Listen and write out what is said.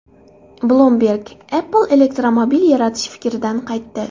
Bloomberg: Apple elektromobil yaratish fikridan qaytdi.